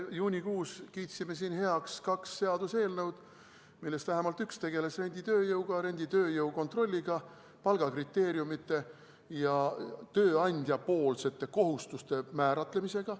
Juunikuus me kiitsime siin heaks kaks seaduseelnõu, millest vähemalt üks tegeles renditööjõuga, renditööjõu kontrolliga, palgakriteeriumide ja tööandja kohustuste kindlaksmääramisega.